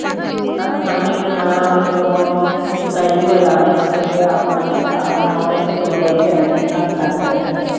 ਸਾਡੇ ਸਾਹਮਣੇ ਕਿਨ੍ਹਾਂ ਓਹ ਜਿਓਂ ਛਦਾਈ ਹੋਇਆ ਹੀ ਤੇ ਮੁੜ ਕੇ ਆਪਣਾ ਆਪਣਾ ਆਪ ਇੰਨੇ ਤੋਰਿਆ ਵਿਚਾਰੀ ਨੇ ਕੰਮ ਕਰ ਕਰ ਕੇ।